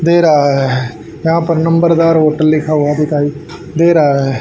दे रहा है यहां पर नंबरदार होटल लिखा हुआ दिखाई दे रहा है।